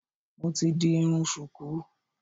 Mo ti di irun ṣùkú